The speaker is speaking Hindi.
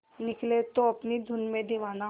निकले है अपनी धुन में दीवाना